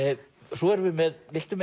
svo erum við með viltu